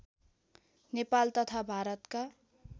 नेपाल तथा भारतका